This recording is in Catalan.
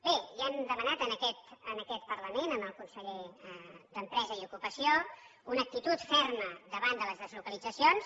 bé ja hem demanat en aquest parlament al conseller d’empresa i ocupació una actitud ferma davant de les deslocalitzacions